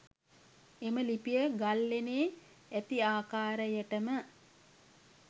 එම ලිපිය ගල්ලෙණේ ඇති ආකාරයටම